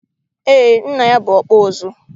eé, Nna ya bụ ọkpụ ụzụ.